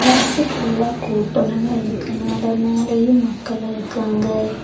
Bus ஃபுல்லா கூட்டமா இருக்கனால மேலேயும் மக்கள் இருக்குறாங்க.